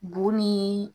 Bo ni